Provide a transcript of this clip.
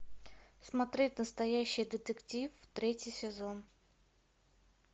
смотреть настоящий детектив третий сезон